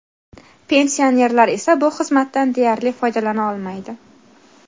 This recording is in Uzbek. Pensionerlar esa bu xizmatdan deyarli foydalana olmaydi.